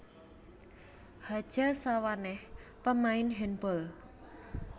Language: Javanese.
Hadja Sawaneh pamain handball